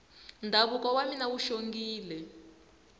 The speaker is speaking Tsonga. ndhavuko wa mina wu xongile